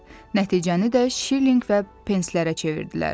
Nəticəni də şillinq və penslərə çevirdilər.